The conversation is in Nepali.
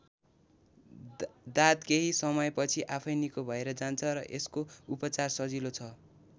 दाद केही समयपछि आफैँ निको भएर जान्छ र यसको उपचार सजिलो छ।